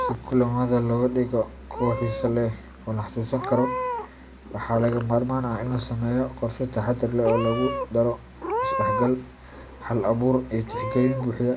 Si kulamada looga dhigo kuwo xiiso leh oo la xasuusan karo, waxaa lagama maarmaan ah in la sameeyo qorshe taxaddar leh oo lagu daro isdhexgal, hal abuur, iyo tixgelin buuxda